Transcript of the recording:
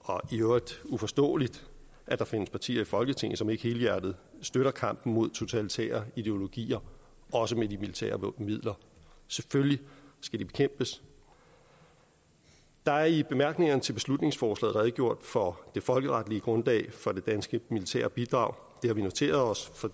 og i øvrigt uforståeligt at der findes partier i folketinget som ikke helhjertet støtter kampen mod totalitære ideologier også med de militære midler selvfølgelig skal de bekæmpes der er i bemærkningerne til beslutningsforslaget redegjort for det folkeretlige grundlag for det danske militære bidrag det har vi noteret os for